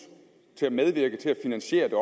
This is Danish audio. til at medvirke til at finansiere det